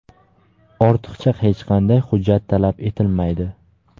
ortiqcha hech qanday hujjat talab etilmaydi.